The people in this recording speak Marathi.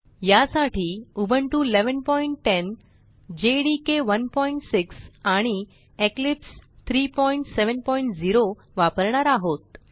यासाठी उबुंटू 1110 जेडीके 16 आणि इक्लिप्स 370 वापरणार आहोत